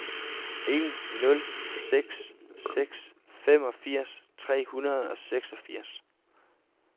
en nul seks seks femogfirs tre hundrede og seksogfirs